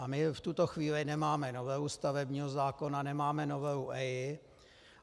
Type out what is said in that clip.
A my v tuto chvíli nemáme novelu stavebního zákona, nemáme novelu EIA.